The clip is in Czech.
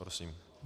Prosím.